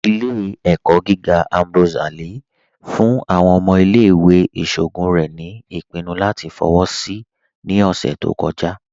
Ìlẹ̀-ẹ̀kọ gígà Ambrose Ali fún àwọn ọmọ ìlẹ̀-ìwé ìṣọogun rẹ̀ ni ipinnú latí fọwọ́ sí ní ọṣẹ̀ tó kọ̀jà.